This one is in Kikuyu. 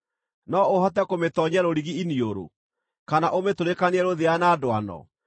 No ũhote kũmĩtoonyia rũrigi iniũrũ, kana ũmĩtũrĩkanie rũthĩa na ndwano?